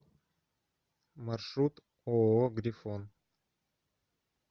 маршрут ооо грифон